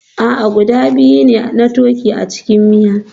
A'a, guda biyu ne kawai na turkey a cikin miya